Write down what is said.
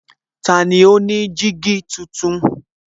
Tani ó ní jígí tuntun?